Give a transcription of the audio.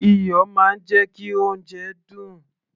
iyọ̀ máa ń jẹ́ kí oúnjẹ dùn